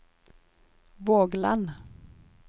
Vågland